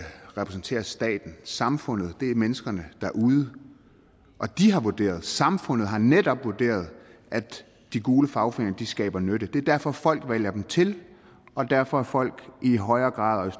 repræsenterer staten samfundet er menneskene derude og de har vurderet samfundet har netop vurderet at de gule fagforeninger skaber nytte det er derfor folk vælger dem til og derfor at folk i højere grad